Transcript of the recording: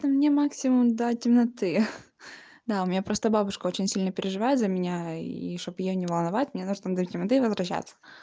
мне максимум до темноты да у меня просто бабушка очень сильно переживает за меня и чтобы её не волновать мне нужно до темноты возвращаться